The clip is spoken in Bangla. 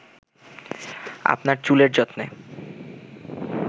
আপনার চুলের যত্নে